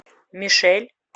мишель